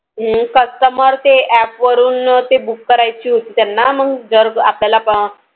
हम्म Customer app वरून ते Book करायची होती त्याना. मग जर आपल्याला